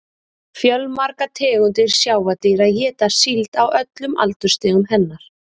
Fjölmargar tegundir sjávardýra éta síld á öllum aldursstigum hennar.